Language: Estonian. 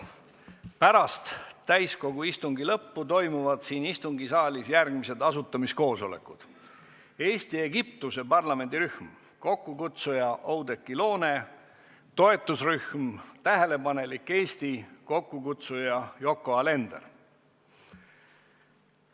Pärast täiskogu istungi lõppu toimuvad siin istungisaalis järgmised asutamiskoosolekud: Eesti-Egiptuse parlamendirühm, kokkukutsuja Oudekki Loone; toetusrühm Tähelepanelik Eesti, kokkukutsuja Yoko Alender.